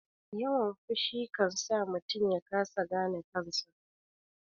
Yawan fushi kansa mutum yakasa gane kansa